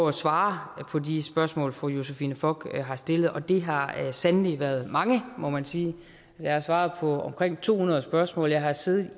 at svare på de spørgsmål fru josephine fock har stillet og det har sandelig været mange må man sige jeg har svaret på omkring to hundrede spørgsmål jeg har siddet